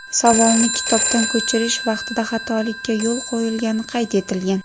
Savolni kitobdan ko‘chirish vaqtida xatolikka yo‘l qo‘yilgani qayd etilgan.